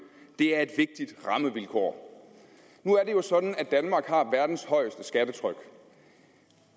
det er et vigtigt rammevilkår nu er det jo sådan at danmark har verdens højeste skattetryk